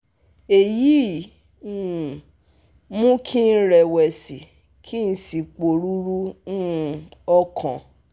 Èyí um mú kí n rẹ̀wẹ̀sì ki n si poruru um okan